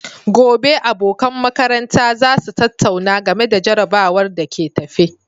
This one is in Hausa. Gobe, abokan makaranta za su tattauna game da jarrabawar da ke tafe.